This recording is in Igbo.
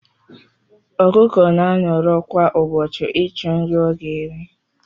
Ọkụkọ na anọrọ kwa ubochi ichọ nri ọga eri.